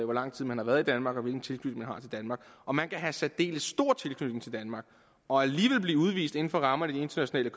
hvor lang tid man har været i danmark og hvilken tilknytning man har til danmark og man kan have en særdeles stor tilknytning til danmark og alligevel blive udvist inden for rammerne af de internationale